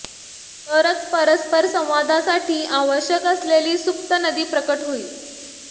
तरच परस्पर संवादासाठी आवश्यक असलेली सुप्त नदी प्रकट होईल